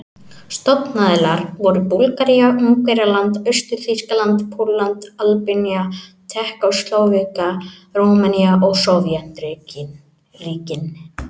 Stofnaðilar voru Búlgaría, Ungverjaland, Austur-Þýskaland, Pólland, Albanía, Tékkóslóvakía, Rúmenía og Sovétríkin.